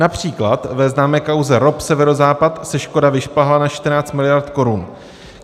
Například ve známé kauze ROP Severozápad se škoda vyšplhá na 14 miliard korun.